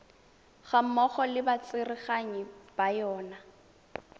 gammogo le batsereganyi ba yona